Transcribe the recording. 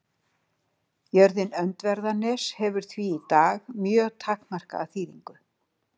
Jörðin Öndverðarnes hefur því í dag mjög takmarkaða þýðingu.